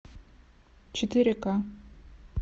четыре ка